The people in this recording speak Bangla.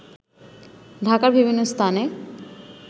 ঢাকার বিভিন্ন স্থানে